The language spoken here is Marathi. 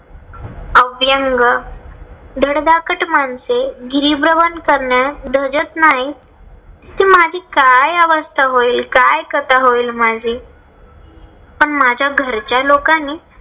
अव्यंग धडधाकट माणसे गिरीभ्रमण करण्यास धजत नाहीत. तिथे माझी काय अवस्था होईल? काय कथा होईल माझी? पण माझ्या घरच्या लोकांनी